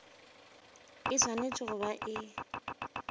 e swanetše go ba e